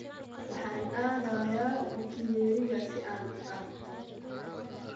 Waxaan aadayaa bukiyeeriga si aan u dabtoo